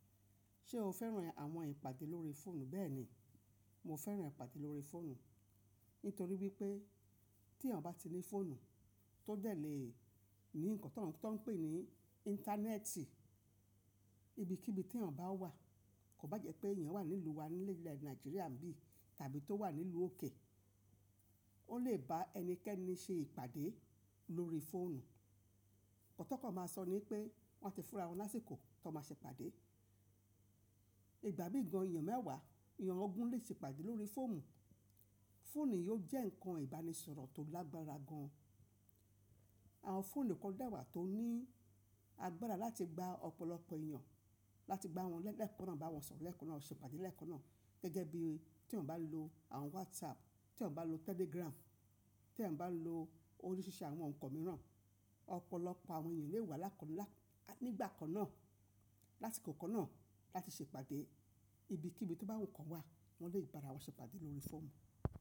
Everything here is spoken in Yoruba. Ṣé o fẹ́ràn àwọn ìpàdé lórí fóònù bẹ́ẹ̀ni, mo fẹ́ràn ìpàdé lórí fóònù, nítorí wípé tí èèyàn bá ní fóònù tó jẹ̀ lé rí nǹkan tó ń pè ní íńtánẹ́ẹ̀tì, ibikíbi tí èèyàn bá wà, kò bá jẹ́ pé èèyàn wà ní ìlú wa ní ilẹ̀ Nàìjíríà bí tàbí tó wà nílùú òkè, ó lè ba ẹnikẹ́ni ṣe ìpàdé lórí fóònù. Ń tí wọn kọ máa sọ ní pé wọ́n a ti fúnra wọn lásìkò tó máa ṣe ìpàdé. Ìgbà mí gan èèyàn mẹ́wàá, èèyàn ọgun lè ṣe ìpàdé lórí fóònù. Fóònù yóò jẹ́ ǹkan ìbánisọ̀rọ̀ tó lágbára gan-an. Àwọn fóònù kò dewà tó ní agbára láti gba ọ̀pọ̀lọpọ̀ èèyàn, láti bá wọn lẹ́ẹ̀kan náà, bá wọn sọ̀rọ̀ lẹ́ẹ̀kan náà, ṣe ìpàdé lẹ́ẹ̀kan náà gẹ́gẹ́ bí tí wọ́n bá lo àwọn wásààpù, tí wọ́n bá lo tẹ́lígràmù, tí wọ́n bá lo oríṣiríṣi àwọn ǹkan mìíràn, ọ̀pọ̀lọpọ̀ àwọn èèyàn lè wà lákòókò nígbà kan náà láti kòkò náà láti ṣe ìpàdé ibikíbi tó bá wù wọ́n kan wà, wọ́n lè bá ara wọn ṣe ìpàdé lórí fóònù.